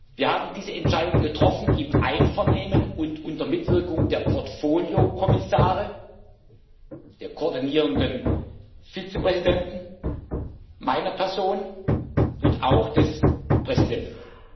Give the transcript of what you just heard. Wir haben diese Entscheidung getroffen im Einvernehmen und unter Mitwirkung der Portfolio Kommissare, der koordinierenden Vizepräsidenten, meiner Person und auch des Präsidenten.